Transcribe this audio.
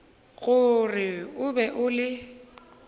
gore o be o le